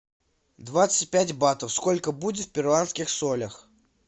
двадцать пять батов сколько будет в перуанских солях